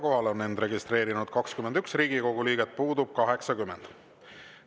Kohalolijaks on end registreerinud 21 Riigikogu liiget, puudub 80.